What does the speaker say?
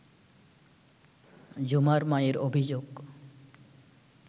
ঝুমার মায়ের অভিযোগ